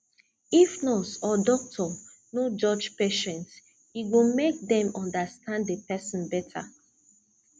if nurse or doctor no judge patient e go make dem understand the person better